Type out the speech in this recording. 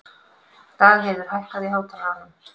Dagheiður, hækkaðu í hátalaranum.